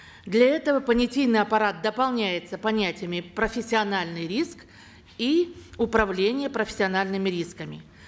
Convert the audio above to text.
для этого понятийный аппарат дополняется понятиями профессиональный риск и управление профессиональными рисками